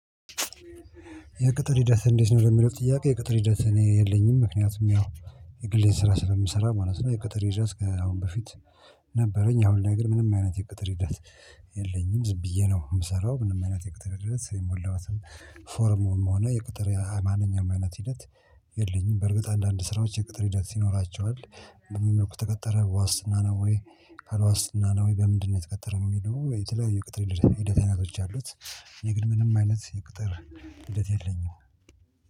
የቅጥር ሂደት እንዴት ነው? ለሚለው ጥያቄ የቅጥር ሂደት እኔ የለኝም ምክንያቱም ያው የግሌ ስራ ስለምሰራ ማለት ነው። የቅጥር ሂደት ከአሁን በፊት ነበረኝ። አሁን ላይ ግን ነገር ምንም አይነት የቅጥር ሂደት የለኝም። ዝም ብዬ ነው የምሰራው ምንም አይነት የቅጥር ሂደት የሞላሁትም ፎርም ሆነ የቅጥር የማንኛውም አይነት ሂደት የለኝም። በእርግጥ አንዳንድ ስራዎች የቅጥር ሂደት ይኖራቸዋል። በምን መልኩ ተቀተረ በዋስትና ነው ወይ ካልዋስትና ነው ወይ በምንድነው? የተቀጠረው የሚለው የተለያየ የቅጥር ሂደት አይነቶች አሉት። እኔ ግን ምንም አይነት የቅጥር ሂደት የለኝም